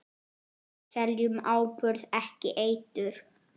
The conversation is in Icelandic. Við seljum áburð, ekki eitur.